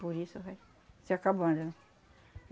Por isso, vai, se acabando, né?